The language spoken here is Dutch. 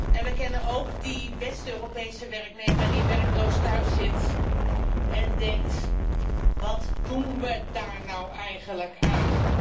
En we kennen ook die West Europese werknemer die werkloos thuis zit en denkt wat doen we daar nou eigenlijk aan?